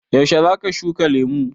Yaushe za ka shuka lemu?